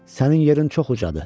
Sənin yerin çox ucadır.